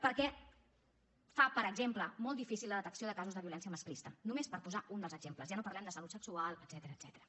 perquè fa per exemple molt difícil la detecció de casos de violència masclista només per posar un dels exemples ja no parlem de salut sexual etcètera